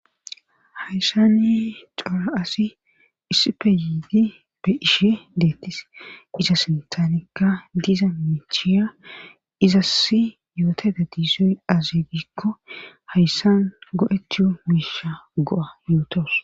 hayssani cora asi issife yiidi be ishe deettis iza sintanikka diza miichiya izasi yoota dadiizoy aze gikko hayssan go7etuu miisha go7a yuutos